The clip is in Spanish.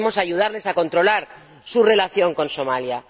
Debemos ayudarles a controlar su relación con Somalia.